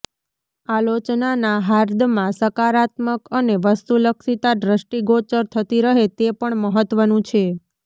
આલોચનાનાં હાર્દમાં સકારાત્મક અને વસ્તુલક્ષીતા દ્રષ્ટિગોચર થતી રહે તે પણ મહત્વનું છે